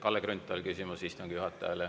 Kalle Grünthal, küsimus istungi juhatajale.